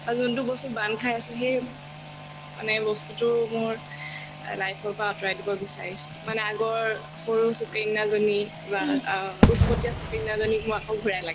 আৰু যোনতো বস্তু বান্ধ খাই আছো সেই মানে বস্তুতো মোৰ এ life ৰ পৰা আতৰাই দিব বিচাৰিছো মানে আগৰ সৰু সুকন্যাজনী বা অ উত্‍পতীয়া সুকন্যাজনীক মোক আকৌ ঘূৰাই লাগে